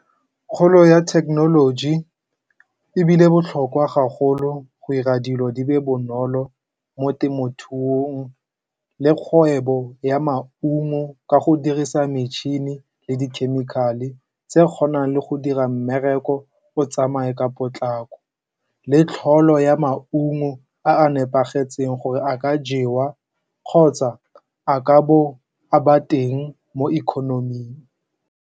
Kgolo ya thekenoloji e bile botlhokwa gagolo go ira dilo di be bonolo mo temothuong le kgwebo ya maungo ka go dirisa metšhini le dikhemikhale tse kgonang le go dira mmereko o tsamaye ka potlako, le tlholego ya maungo a nepagetseng gore a ka jewa kgotsa a ka bo a ba teng mo econom-eng.